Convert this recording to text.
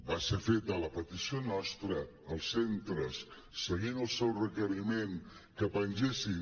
va ser feta la petició nostra als centres seguint el seu requeriment que pengessin